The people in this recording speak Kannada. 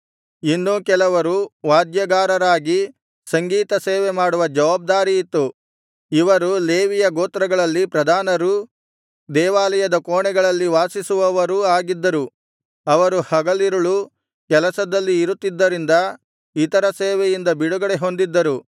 ಇನ್ನೂ ಕೆಲವರು ವಾದ್ಯಗಾರರಾಗಿ ಸಂಗೀತ ಸೇವೆಮಾಡುವ ಜವಾಬ್ದಾರಿಯಿತ್ತು ಇವರು ಲೇವಿಯ ಗೋತ್ರಗಳಲ್ಲಿ ಪ್ರಧಾನರೂ ದೇವಾಲಯದ ಕೋಣೆಗಳಲ್ಲಿ ವಾಸಿಸುವವರೂ ಆಗಿದ್ದರು ಅವರು ಹಗಲಿರುಳು ಕೆಲಸದಲ್ಲಿ ಇರುತ್ತಿದ್ದರಿಂದ ಇತರ ಸೇವೆಯಿಂದ ಬಿಡುಗಡೆ ಹೊಂದಿದ್ದರು